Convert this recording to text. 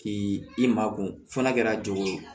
K'i makun f'a kɛra joona